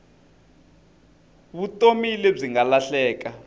vutomi lebyi nga lahleka